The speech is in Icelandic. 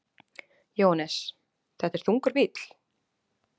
Jóhannes: Þetta er þungur bíll?